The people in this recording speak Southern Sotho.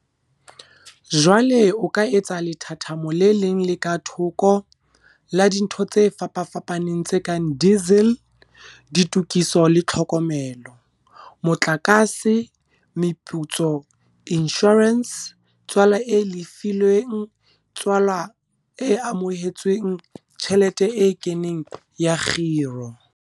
Jwale o ka etsa lethathamo le leng le ka thoko la dintho tse fapafapaneng tse kang diesel, ditokiso le tlhokomelo, motlakase, meputso, inshorense, tswala e lefilweng, tswala e amohetsweng, tjhelete e keneng ya kgiro.